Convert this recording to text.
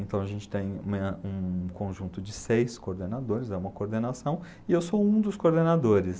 Então, a gente tem uma um conjunto de seis coordenadores, dá uma coordenação, e eu sou um dos coordenadores.